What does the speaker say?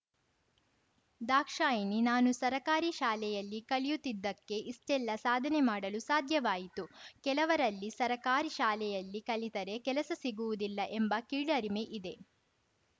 ದಾಕ್ಷಾಯಿಣಿ ನಾನು ಸರಕಾರಿ ಶಾಲೆಯಲ್ಲಿ ಕಲಿಯುತ್ತಿದ್ದಕ್ಕೆ ಇಷ್ಟೆಲ್ಲ ಸಾಧನೆ ಮಾಡಲು ಸಾಧ್ಯವಾಯಿತು ಕೆಲವರಲ್ಲಿ ಸರಕಾರಿ ಶಾಲೆಯಲ್ಲಿ ಕಲಿತರೆ ಕೆಲಸ ಸಿಗುವುದಿಲ್ಲ ಎಂಬ ಕೀಳರಿಮೆ ಇದೆ